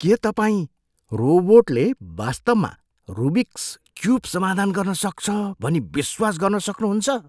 के तपाईँ रोबोटले वास्तवमा रुबिकस् क्युब समाधान गर्न सक्छ भनी विश्वास गर्न सक्नुहुन्छ?